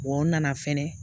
n nana fɛnɛ